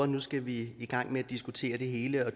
nu skal vi i gang med at diskutere det hele og